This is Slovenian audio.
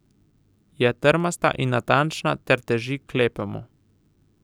Je trmasta in natančna ter teži k lepemu.